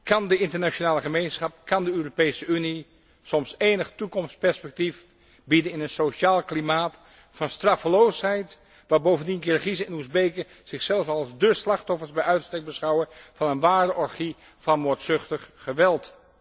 Kan de internationale gemeenschap, kan de Europese Unie enig toekomstperspectief bieden in een sociaal klimaat van straffeloosheid waar bovendien Kirgiezen en Oezbeken zichzelf als de slachtoffers bij uitstek beschouwen van een ware orgie van moordzuchtig geweld?